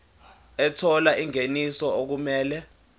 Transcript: ethola ingeniso okumele